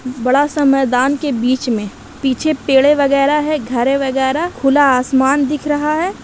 बड़ा सा मैदान के बीच में पीछे पेडे वगैरा है घरे वगैरा खुला आसमान दिख रहा है।